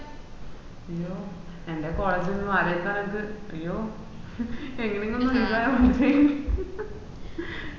അയ്യോ എന്റെ college ആലോയ്ക്ക എനക്ക് അയ്യോ എങ്ങനേം ഒന്ന് ഒഴിവായ മതിയെനും